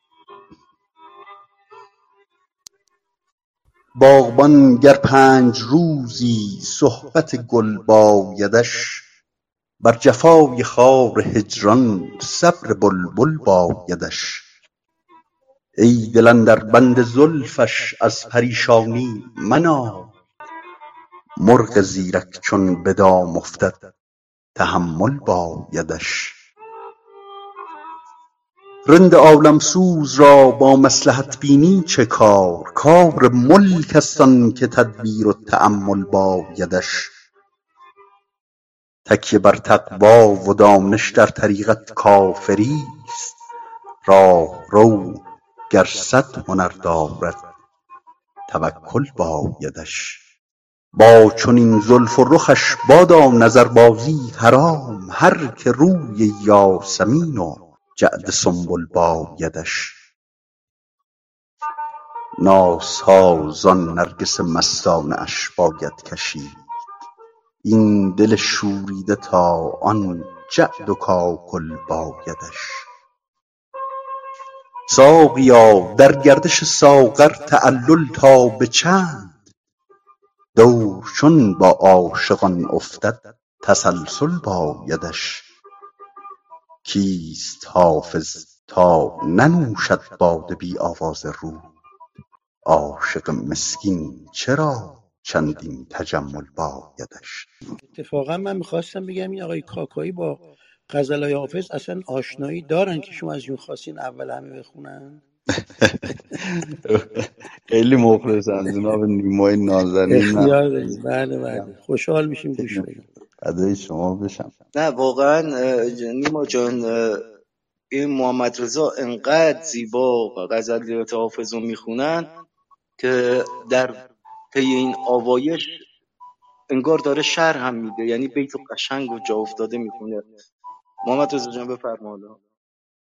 باغبان گر پنج روزی صحبت گل بایدش بر جفای خار هجران صبر بلبل بایدش ای دل اندر بند زلفش از پریشانی منال مرغ زیرک چون به دام افتد تحمل بایدش رند عالم سوز را با مصلحت بینی چه کار کار ملک است آن که تدبیر و تأمل بایدش تکیه بر تقوی و دانش در طریقت کافری ست راهرو گر صد هنر دارد توکل بایدش با چنین زلف و رخش بادا نظربازی حرام هر که روی یاسمین و جعد سنبل بایدش نازها زان نرگس مستانه اش باید کشید این دل شوریده تا آن جعد و کاکل بایدش ساقیا در گردش ساغر تعلل تا به چند دور چون با عاشقان افتد تسلسل بایدش کیست حافظ تا ننوشد باده بی آواز رود عاشق مسکین چرا چندین تجمل بایدش